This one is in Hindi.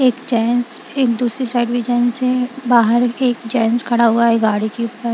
एक जेंट्स एक दूसरी साइड भी जेंट्स हैं बाहर भी एक जेंट्स खड़ा हुआ है गाड़ी के ऊपर।